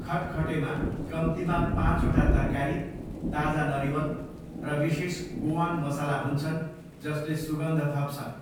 खटखटेमा कम्तीमा पाँचवटा तरकारी, ताजा नरिवल र विशेष गोआन मसला हुन्छन् जसले सुगन्ध थप्छन्।